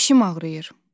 Dişim ağrıyır.